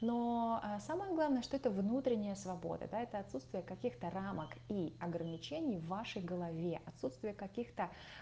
но самое главное что это внутренняя свобода да это отсутствие каких-то рамок и ограничений в вашей голове отсутствие каких-то